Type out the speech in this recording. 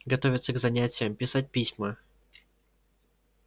готовиться к занятиям писать письма